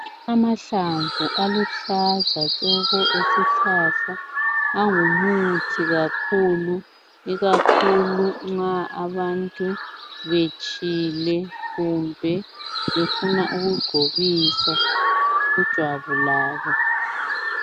Amahlamvu aluhlaza tshoko esihlahla angumuthi kakhulu ikakhulu nxa abantu betshile kumbe befuna ukugcobisa kujwabu labo.